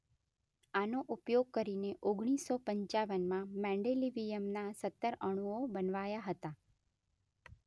આનો ઉપયોગ કરીને ઓગણીસો પંચાવનમાં મેન્ડેલિવીયમના સત્તર અણુઓ બનાવ્યાં હતાં.